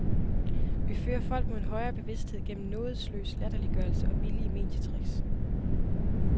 Vi fører folk mod en højere bevidsthed gennem nådesløs latterliggørelse og billige medietricks